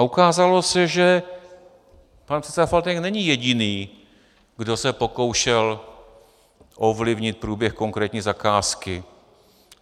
A ukázalo se, že pan předseda Faltýnek není jediný, kdo se pokoušel ovlivnit průběh konkrétní zakázky.